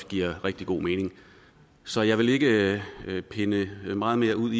giver rigtig god mening så jeg vil ikke pinde det meget mere ud